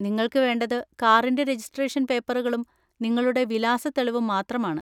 നിങ്ങൾക്ക് വേണ്ടത് കാറിന്‍റെ രജിസ്ട്രേഷൻ പേപ്പറുകളും നിങ്ങളുടെ വിലാസ തെളിവും മാത്രമാണ്.